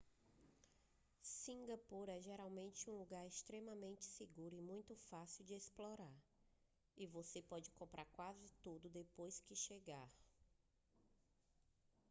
cingapura é geralmente um lugar extremamente seguro e muito fácil de explorar e você pode comprar quase tudo depois de chegar